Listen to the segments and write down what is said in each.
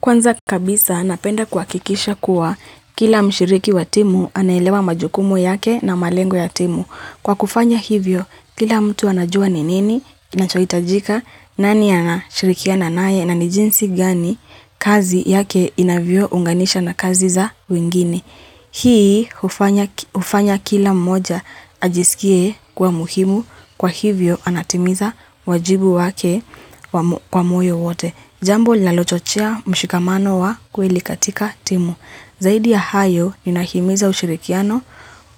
Kwanza kabisa napenda kuhakikisha kuwa kila mshiriki wa timu anaelewa majukumu yake na malengo ya timu. Kwa kufanya hivyo, kila mtu anajua ni nini, inachoitajika, nani anashirikiana naye, nani jinsi gani kazi yake inavyo unganisha na kazi za wengine Hii, ufanya kila mmoja ajisikie kuwa muhimu, kwa hivyo anatimiza wajibu wake kwa moyo wote. Jambo linalochochea mshikamano wa kwelik katika timu. Zaidi ya hayo ninahimiza ushirikiano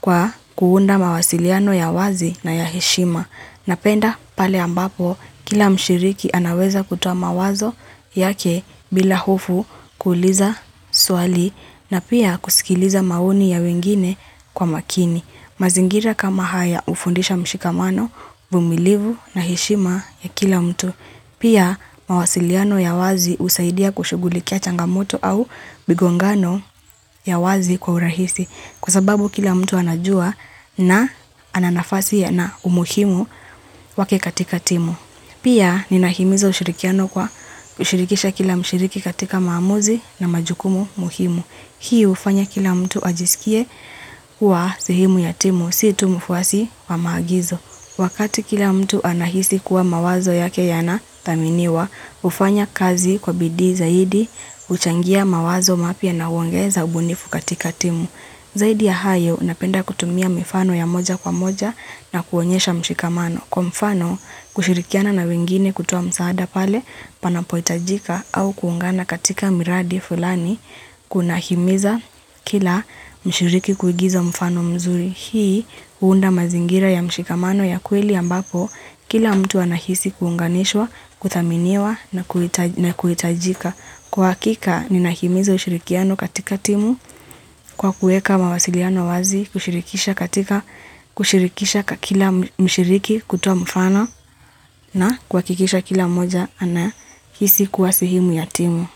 kwa kuunda mawasiliano ya wazi na ya heshima. Napenda pale ambapo kila mshiriki anaweza kutua mawazo yake bila hofu kuuliza swali na pia kusikiliza maoni ya wengine kwa makini. Mazingira kama haya hufundisha mshikamano, humilivu na heshima ya kila mtu. Pia, mawasiliano ya wazi husaidia kushugulikia changamoto au migongano ya wazi kwa urahisi kwa sababu kila mtu anajua na ana nafasi ya na umuhimu wake katika timu. Pia, ninahimizo ushirikiano kwa ushirikisha kila mshiriki katika maamuzi na majukumu muhimu. Mu ya timu si tu mfuasi wa maagizo. Wakati kila mtu anahisi kuwa mawazo yake yanathaminiwa, hufanya kazi kwa bidii zaidi huchangia mawazo mapya na huongeza ubunifu katika timu. Zaidi ya hayo, napenda kutumia mifano ya moja kwa moja na kuonyesha mshikamano. Kwa mfano kushirikiana na wengine kutuoa msaada pale panapo hitajika au kuungana katika miradi fulani kunahimiza kila mshiriki kuigiza mfano mzuri. Hii huunda mazingira ya mshikamano ya kweli ambapo kila mtu anahisi kuunganishwa, kuthaminiwa na kuitajika. Kwa hakika ninahimiza ushirikiano katika timu kwa kuweka mawasiliano wazi kushirikisha katika kushirikisha kila mshiriki kutuoa mfano na kwa kuhakikisha kila mmoja ana hisi kuwa sehemu ya timu.